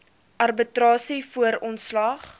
arbitrasie voor ontslag